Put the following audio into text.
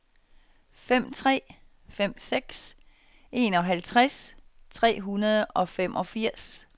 fem tre fem seks enoghalvtreds tre hundrede og femogfirs